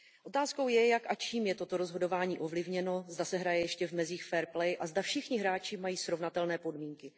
Otázkou je, jak a čím je toto rozhodování ovlivněno, zda se hraje ještě v mezích a zda všichni hráči mají srovnatelné podmínky.